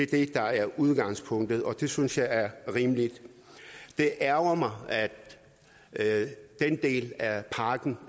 det der er udgangspunktet og det synes jeg er rimeligt det ærgrer mig at den del af pakken